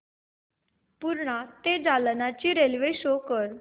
पूर्णा ते जालना ची railway show कर